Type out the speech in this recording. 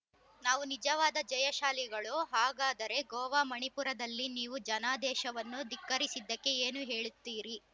ನಾವು ನಿಜವಾದ ಜಯಶಾಲಿಗಳು ಹಾಗಾದರೆ ಗೋವಾ ಮಣಿಪುರದಲ್ಲಿ ನೀವು ಜನಾದೇಶವನ್ನು ಧಿಕ್ಕರಿಸಿದ್ದಕ್ಕೆ ಏನು ಹೇಳುತ್ತೀರಿ